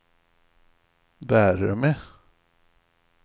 värme